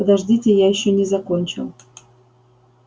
подождите я ещё не закончил